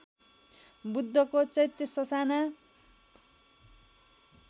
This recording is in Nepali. बुद्धको चैत्य ससाना